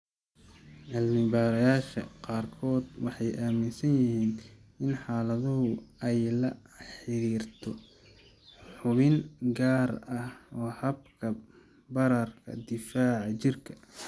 Cilmi-baarayaasha qaarkood waxay aaminsan yihiin in xaaladdu ay la xiriirto xubin gaar ah oo habka bararka difaaca jirka.